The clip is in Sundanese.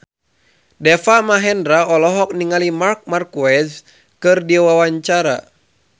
Deva Mahendra olohok ningali Marc Marquez keur diwawancara